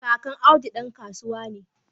Kakan Audu dan kasuwa ne